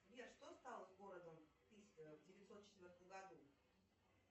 сбер что стало с городом в девятьсот четвертом году